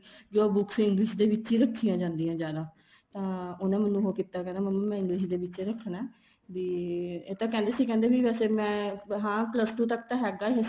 ਜੋ books English ਦੇ ਵਿੱਚ ਹੀ ਰੱਖੀਆਂ ਜਾਂਦੀਆਂ ਜਿਆਦਾ ਤਾਂ ਉਹਨਾ ਮੈਨੂੰ ਉਹ ਕੀਤਾ ਕਹਿੰਦਾ ਮੰਮੀ ਮੈਂ English ਦੇ ਵਿੱਚ ਹੀ ਰੱਖਣਾ ਏ ਵੀ ਇਹ ਤਾਂ ਕਹਿੰਦੇ ਸੀ ਕਹਿੰਦੇ ਵੀ ਵੈਸੇ ਮੈਂ ਹਾਂ plus two ਤੱਕ ਤਾਂ ਹੈਗਾ ਏ